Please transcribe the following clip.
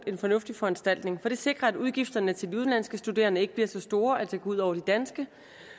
en fornuftig foranstaltning for det sikrer at udgifterne til de udenlandske studerende ikke bliver så store at det går ud over de danske